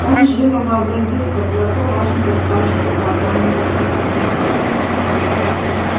он живо вообразил как драко важно расхаживает по огромному особняку